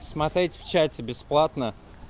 смотреть в чате бесплатно